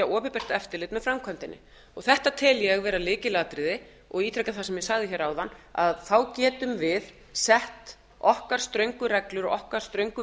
opinbert eftirlit með framkvæmdinni þetta tel ég vera lykilatriði og ítreka það sem ég sagði áðan að þá getum við sett okkar ströngu reglur og okkar ströngu